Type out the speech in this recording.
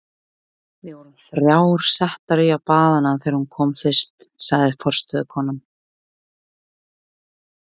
Við vorum þrjár settar í að baða hana þegar hún kom fyrst, sagði forstöðukonan.